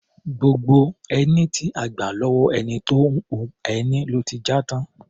Gbogbo ẹní tí a gbà lọ́wọ́ ẹni tó ń hun ẹni ló ti já tán.